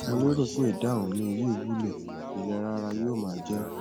mo lérò pé ìdáhùn mi yìí wúlò ìlera ara yóò máa jẹ